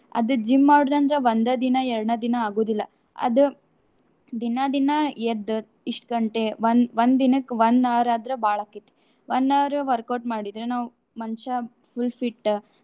ಅದ್ gym ಮಾಡೋದಂದ್ರ ಒಂದ್ ದಿನ ಎರಡ್ನ ದಿನ ಆಗುದಿಲ್ಲಾ. ಅದು ದಿನ ದಿನ ಎದ್ದು ಇಷ್ಟು ಗಂಟೆ ಒಂದ್ ಒಂದ್ ದಿನಕ್ಕ one hour ಆದ್ರ ಬಾಳ ಆಕ್ಕೇತಿ. one hour workout ಮಾಡಿದ್ರೆ ನಾವು ಮನುಷ್ಯ fullfit .